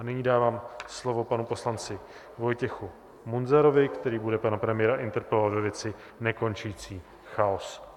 A nyní dávám slovo panu poslanci Vojtěchu Munzarovi, který bude pana premiéra interpelovat ve věci nekončící chaos.